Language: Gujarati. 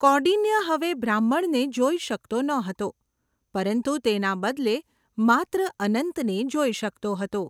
કૌંડિન્ય હવે બ્રાહ્મણને જોઈ શકતો ન હતો પરંતુ તેના બદલે માત્ર અનંતને જોઈ શકતો હતો.